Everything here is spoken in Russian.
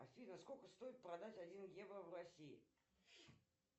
афина сколько стоит продать один евро в россии